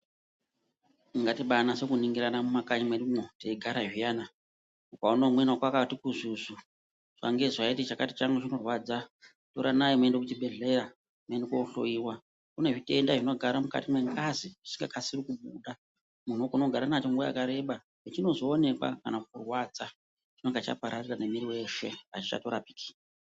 Ngatibai nase ku ningirana mu makanyi mwedumwo tei gara zviyana ukaona umweni wako akati kuzvuzvu zuva nge zuva eyiti chakati changu chiru kurwadza toranai muende ku chibhedhleya muende ko hloyiwa kune zvitenda zvino gara mukati me ngazi zvisinga kasiri kupora munhu unogona kugara nacho nguva yakareba pachinozo onekwa kana kurwadza chinonga chaa pararira ne mwiri weshe achichato rapiki.